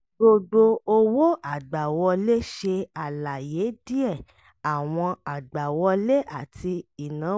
gbogbo owó àgbàwọlé ṣe alaye díẹ̀ àwọn àgbàwọlé àti ìnáwó láti ara àwọn ìdúnadúràá ilé iṣẹ́.